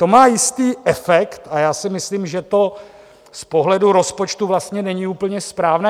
To má jistý efekt a já si myslím, že to z pohledu rozpočtu vlastně není úplně správné.